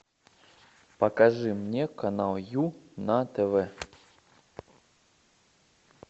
покажи мне канал ю на тв